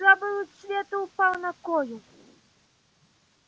слабый луч света упал на колю